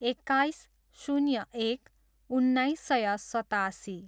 एक्काइस, शून्य एक, उन्नाइस सय सतासी